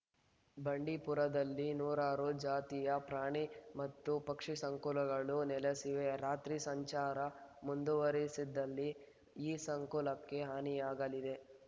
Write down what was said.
ಬಂಡೀಪುರದಲ್ಲಿ ನೂರಾರು ಜಾತಿಯ ಪ್ರಾಣಿ ಮತ್ತು ಪಕ್ಷಿ ಸಂಕುಲಗಳು ನೆಲೆಸಿವೆ ರಾತ್ರಿ ಸಂಚಾರ ಮುಂದುವರಿಸಿದಲ್ಲಿ ಈ ಸಂಕುಲಕ್ಕೆ ಹಾನಿಯಾಗಲಿದೆ